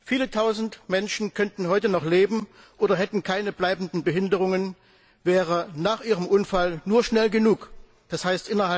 Viele tausend Menschen könnten heute noch leben oder hätten keine bleibenden Behinderungen, wäre nach ihrem Unfall nur schnell genug, d. h.